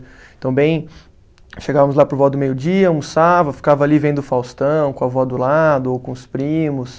Então, bem, chegávamos lá por volta do meio-dia, almoçava, ficava ali vendo o Faustão com a avó do lado ou com os primos.